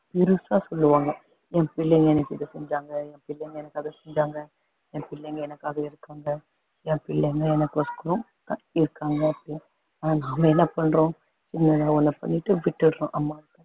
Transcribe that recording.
பெருசா சொல்லுவாங்க என் பிள்ளை எனக்கு இதை செஞ்சாங்க பிள்ளை எனக்கு அது செஞ்சாங்க என் பிள்ளைங்க எனக்காக இருக்காங்க என் பிள்ளைங்க எனக்கோசுறம் இருக்காங்க அப்படின்னு ஆனா நாம என்ன பண்றோம் பண்ணிட்டு விட்டுடறோம்